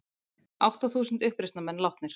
Átta þúsund uppreisnarmenn látnir